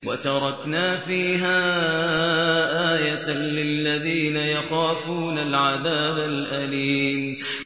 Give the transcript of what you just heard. وَتَرَكْنَا فِيهَا آيَةً لِّلَّذِينَ يَخَافُونَ الْعَذَابَ الْأَلِيمَ